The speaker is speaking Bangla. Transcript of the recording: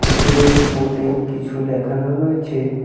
উপরে বোর্ডে কিছু লেখানো রয়েছে।